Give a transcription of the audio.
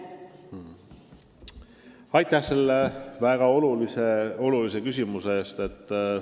Aitäh selle väga olulise küsimuse eest!